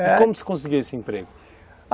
E como você conseguiu esse emprego?